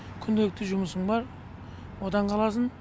күнделікті жұмысың бар одан қаласың